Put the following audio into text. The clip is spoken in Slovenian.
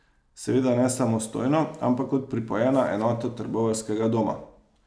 Seveda ne samostojno, ampak kot pripojena enota trboveljskega doma.